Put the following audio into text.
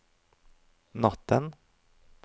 natten